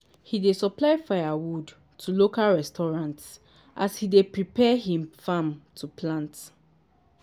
he dey supply firewood to local restaurants as he dey prepare him farm to plant